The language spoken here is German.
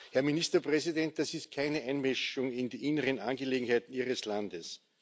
Herr Ministerpräsident, das ist keine Einmischung in die inneren Angelegenheiten Ihres Landes.